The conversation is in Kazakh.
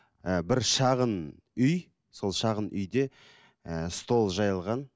ііі бір шағын үй сол шағын үйде ііі стол жайылған